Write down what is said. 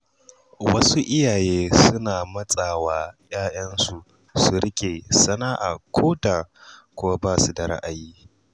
Wasu iyaye suna matsa wa ‘ya’yansu su riƙe sana’a koda kuwa basu da ra'ayi.